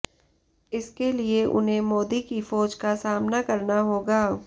इसके लिए उन्हें मोदी की फौज का सामना करना होगा